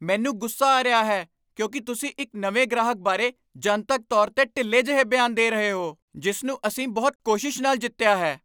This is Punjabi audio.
ਮੈਨੂੰ ਗੁੱਸਾ ਆ ਰਿਹਾ ਹੈ ਕਿਉਂਕਿ ਤੁਸੀਂ ਇੱਕ ਨਵੇਂ ਗ੍ਰਾਹਕ ਬਾਰੇ ਜਨਤਕ ਤੌਰ 'ਤੇ ਢਿੱਲੇ ਜਿਹੇ ਬਿਆਨ ਦੇ ਰਹੇ ਹੋ ਜਿਸ ਨੂੰ ਅਸੀਂ ਬਹੁਤ ਕੋਸ਼ਿਸ਼ ਨਾਲ ਜਿੱਤਿਆ ਹੈ।